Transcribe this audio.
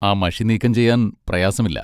ആ മഷി നീക്കം ചെയ്യാൻ പ്രയാസമില്ല.